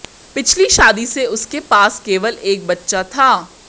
पिछली शादी से उसके पास केवल एक बच्चा था